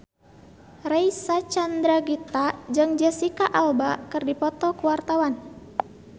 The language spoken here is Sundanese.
Reysa Chandragitta jeung Jesicca Alba keur dipoto ku wartawan